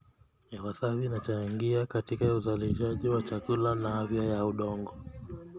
Hewasafi inachangia katika uzalishaji wa chakula na afya ya udongo.